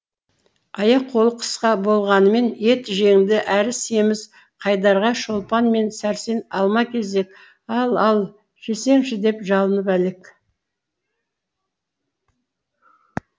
аяқ қолы қысқа болғанымен ет жеңді әрі семіз қайдарға шолпан мен сәрсен алма кезек ал ал жесеңші деп жалынып әлек